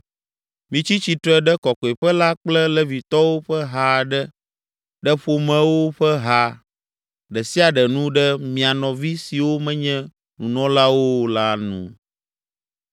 “Mitsi tsitre ɖe Kɔkɔeƒe la kple Levitɔwo ƒe ha aɖe ɖe ƒomewo ƒe ha ɖe sia ɖe nu ɖe mia nɔvi siwo menye nunɔlawo o la nu.